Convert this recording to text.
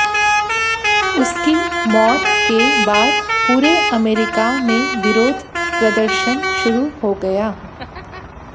उसकी मौत के बाद पूरे अमेरिका में विरोध प्रदर्शन शुरू हो गया